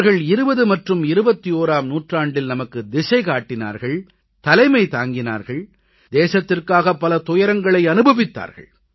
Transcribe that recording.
இவர்கள் 20 மற்றும் 21ஆம் நூற்றாண்டில் நமக்கு திசை காட்டினார்கள் தலைமை தாங்கினார்கள் தேசத்திற்காக பல துயரங்களை அனுபவித்தார்கள்